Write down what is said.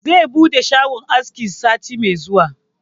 Zai buɗe shagon aski sati mai zuwa